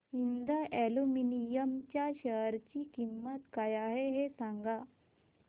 Hind aluminium च्या share ची किंमत काय आहे हे सांगा